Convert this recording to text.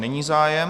Není zájem.